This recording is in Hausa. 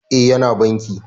E, Yana banki